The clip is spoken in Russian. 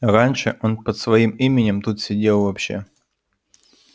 раньше он под своим именем тут сидел вообще